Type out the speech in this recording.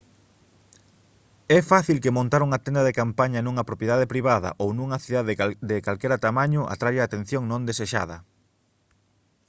é fácil que montar unha tenda de campaña nunha propiedade privada ou nunha cidade de calquera tamaño atraia atención non desexada